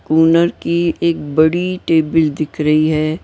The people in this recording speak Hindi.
ओनर की एक बड़ी टेबल दिख रही है।